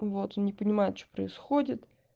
вот он не понимает что происходит